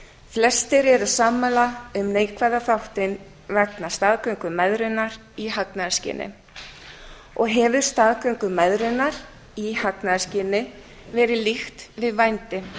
flestir eru sammála um neikvæða þáttinn vegna staðgöngumæðrunar í hagnaðarskyni og hefur staðgöngumæðrun í hagnaðarskyni verið líkt við vændi